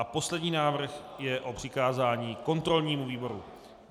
A poslední návrh je o přikázání kontrolnímu výboru.